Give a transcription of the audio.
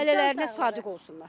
Ailələrinə sadiq olsunlar.